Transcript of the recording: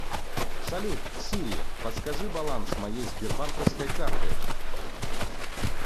салют сири подскажи баланс моей сбербанковской карты